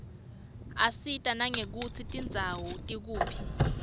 isita nangekutsi tindzawo tikuphi